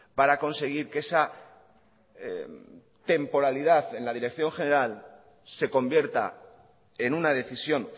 para conseguir que esa temporalidad en la dirección general se convierta en una decisión